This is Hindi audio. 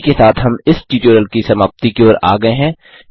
इसी के साथ हम इस ट्यूटोरियल की समाप्ति की ओर आ गये हैं